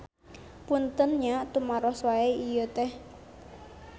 Punten nya tumaros wae ieu teh.